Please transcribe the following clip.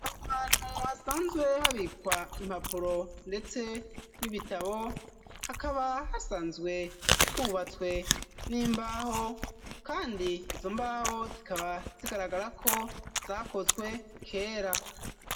Ahantu hasanzwe habikwa impapuro, ndetse, n'ibitabo hakaba hasanzwe hubatswe n'imbaho, kandi izo mbaho zikaba zigaragara ko zakozwe kera.